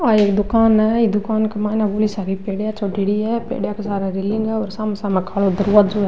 ये दुकान है ये दुकान के माइने बड़ी सारी सीढिया चढ़े री है सीढिया के सामने रेलिंग है और सामने सामने कालो दरवाज़ों है।